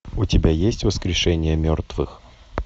у тебя есть воскрешение мертвых